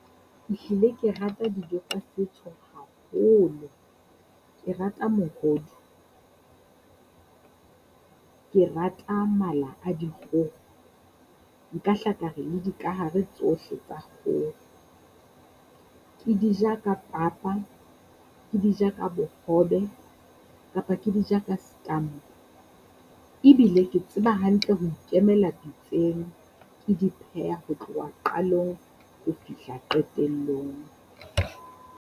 Ehlile ke rata dijo tsa setso haholo, ke rata mohodu, ke rata mala a dikgoho. Nka hla ka re le dikahare tsohle tsa kgoho, ke di ja ka papa, Ke di ja bohobe, kapa ke dija ka stamp. Ebile ke tseba hantle ho ikemela pitseng di pheha ho tloha qalong ho fihla qetellong.